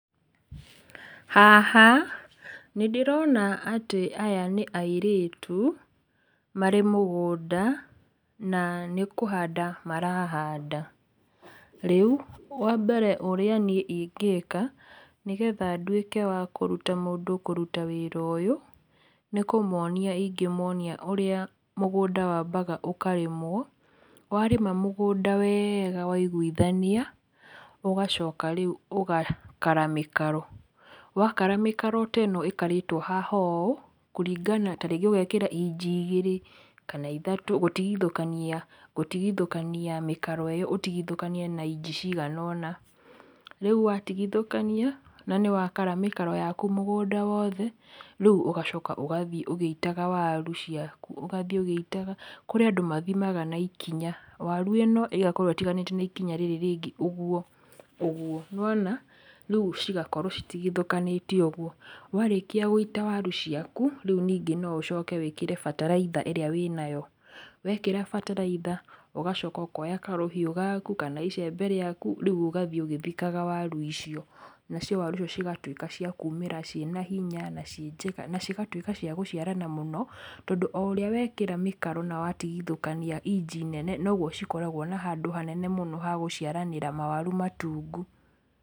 Haha nĩndĩrona atĩ aya nĩ airĩtu marĩ mũgũnda na nĩ kũhanda marahanda . Rĩu wambere ũrĩa niĩ ingĩka nĩgetha nduĩke wa kũrũta mũndũ kũrũta wĩra ũyũ nĩ kũmonia ingĩmonia urĩa mũgũnda wambaga ũkarĩmwo. Warĩma mũgũnda wega waiguithania ũgacoka rĩu ũgakara mĩkaro wakara mĩkaro ta ĩno ĩkarĩtwo haha ũũ kũringana tarĩngĩ ũgekĩra inji igĩrĩ kana ithatũ gũtigithũkania gũtigithũkania mĩkaro ĩyo ũtigithũkanie na inji cigana ona rĩu watigithũkania na ni wakara mĩkaro yaku mũgũnda wothe rĩu ũgacoka ũgathĩe ũgĩitaga waru ciaku ũgathĩe ũgĩitaga kũrĩ andũ mathimaga na ikinya waru ĩno ĩgakorwo itiganĩte na ikinya rĩrĩ rĩngĩ ũguo ũguo nĩwona rĩu cigakorwo citigithũkanĩtio ũguo. Warĩkia gũita waru ciaku rĩu ningĩ no ũcoke wĩkĩre bataraitha ĩrĩa wĩnayo wĩkĩra bataraitha ũgacoka ũkoya karũhiũ gaku kana icembe rĩaku rĩu ũgathĩe ũgĩthikaga waru icio nacio waru icio cigatũĩka cia kũmĩra cĩĩna hinya na cĩĩ njega na cigatũĩka cĩa gũciarana mũno tondũ o ũrĩa wekĩra mĩkaro na watigithũkania inji nene nogwo cikoragwo na handũ hanene hagũciaranĩra mawaru matungu.